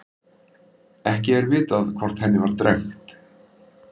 Ekki er vitað hvort henni var drekkt.